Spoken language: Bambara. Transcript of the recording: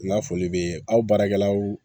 N ka foli bɛ aw baarakɛlaw